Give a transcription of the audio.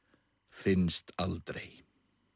finnst aldrei